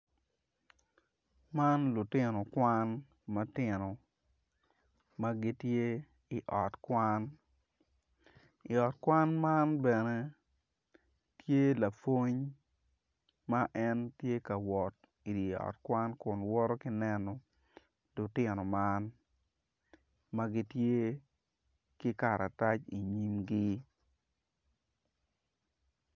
Man lutino kwan matino ma gitye i ot kwan i ot kwan man bene tye lapwony ma en tye ka wot i ot kwan kun woto ki neno lutino man man gitye ki karatac inyimgi